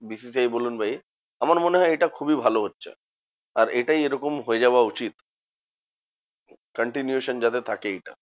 BCCI বলুন বা এ। আমার মনে হয় এটা খুবই ভালো হচ্ছে। আর এটাই এরকম হয়ে যাওয়া উচিত। continuation যাতে থাকে এইটা।